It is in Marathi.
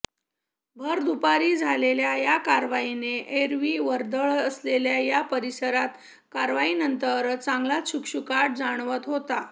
भरदुपारी झालेल्या या कारवाईने एरवी वर्दळ असलेल्या या परिसरात कारवाईनंतर चांगलाच शुकशुकाट जाणवत होता